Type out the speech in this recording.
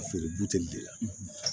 A feere buteli de la